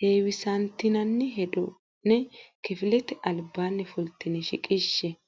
heewisantinanni hedo ne kifilete albaanni fultine shiqishshe.